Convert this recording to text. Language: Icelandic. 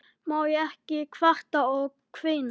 Má ekki kvarta og kveina?